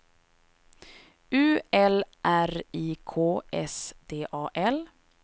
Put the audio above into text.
U L R I K S D A L